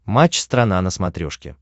матч страна на смотрешке